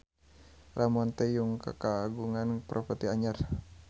Ramon T. Yungka kagungan properti anyar